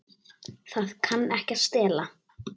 Það kann ekki að stela.